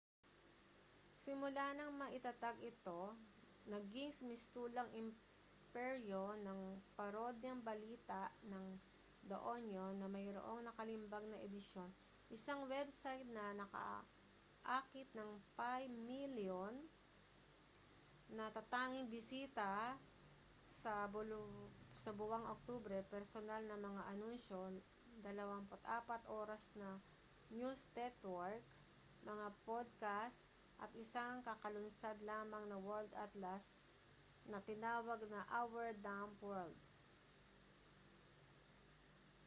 simula ng maitatag ito naging mistulang imperyo ng parodyang balita ang the onion na mayroong nakalimbag na edisyon isang website na nakaakit ng 5,000,000 natatanging bisita sa buwang ng oktubre personal na mga anunsyo 24 oras na news network mga podcast at isang kakalunsad lamang na world atlas na tinawag na our dumb world